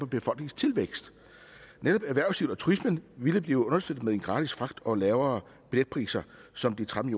befolkningstilvækst netop erhvervslivet og turismen ville blive understøttet med den gratis fragt og lavere billetpriser som de tretten